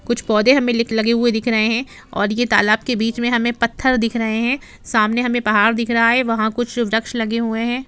कुछ पौधे हमें लगे हुए दिख रहे हैं और यह तालाब के बीच में हमे पत्थर दिख रहे हैं सामने हमें पहाड़ दिख रहा है वहां कुछ वृक्ष लगे हुए हैं।